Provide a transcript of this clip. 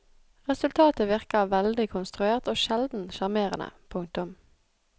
Resultatet virker veldig konstruert og sjelden sjarmerende. punktum